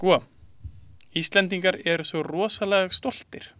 Sko, Íslendingar eru svo rosalega stoltir.